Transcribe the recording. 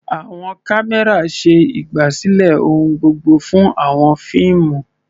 Àwọn kámẹ́rà ṣe ìgbàsílẹ̀ ohun gbogbo fún àwọn fíìmù.